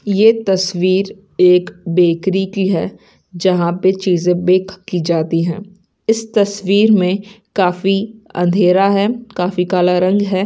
ये तस्वीर एक बेकरी की है जहाँ पे चींज़े बेक की जाती हैं इस तस्वीर में काफी अँधेरा हैं काफी काला रंग हैं।